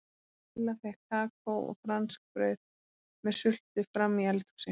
Lilla fékk kakó og franskbrauð með sultu frammi í eld- húsi.